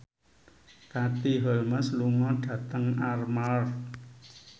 Katie Holmes lunga dhateng Armargh